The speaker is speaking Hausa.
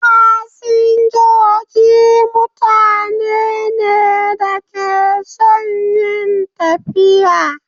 Fasinjoji mutane ne da ke son yin tafiya.